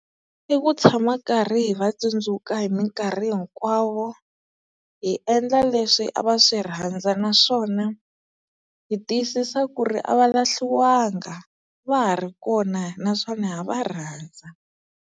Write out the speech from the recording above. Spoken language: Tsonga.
I ku tshama karhi hi va tsundzuka hi minkarhi hinkwawo hi endla leswi a va swi rhandza naswona hi tiyisisa ku ri a va lahliwanga va ha ri kona naswona ha ha va rhandza.